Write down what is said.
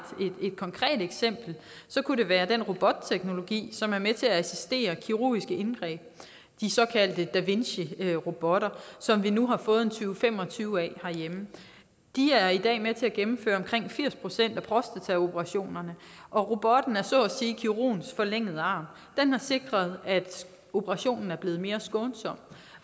konkret eksempel kunne det være den robotteknologi som er med til at assistere kirurgiske indgreb de såkaldte da vinci robotter som vi nu har fået tyve til fem og tyve af herhjemme de er i dag med til at gennemføre omkring firs procent af prostataoperationerne og robotten er så at sige kirurgens forlængede arm den har sikret at operationen er blevet mere skånsom